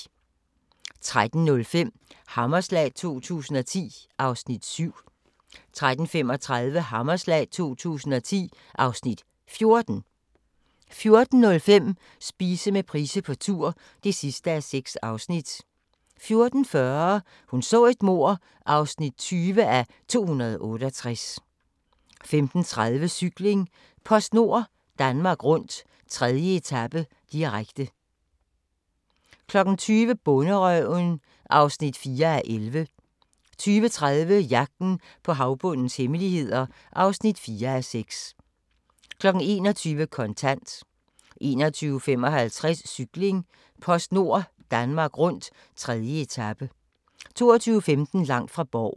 13:05: Hammerslag 2010 (Afs. 7) 13:35: Hammerslag 2010 (Afs. 14) 14:05: Spise med Price på tur (6:6) 14:40: Hun så et mord (20:268) 15:30: Cykling: PostNord Danmark Rundt - 3. etape, direkte 20:00: Bonderøven (4:11) 20:30: Jagten på havbundens hemmeligheder (4:6) 21:00: Kontant 21:55: Cykling: PostNord Danmark Rundt - 3. etape 22:15: Langt fra Borgen